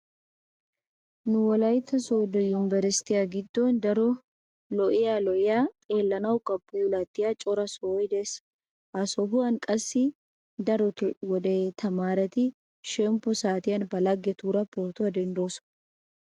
Nu wolaytta sooddo yumbberesttiya giddon daro lo'iya lo'iya xellanawukka puulattiyaa cora sohoy de'ees. Ha sohuwan qassi darotoo wode tamaareti shemppo saatiyan ba laggetuura pootuwa denddoosona.